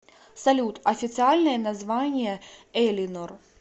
салют официальное название элинор